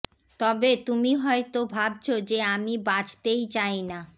তবে তুমি হয়তো ভাবছো যে আমি বাছতেই চাই না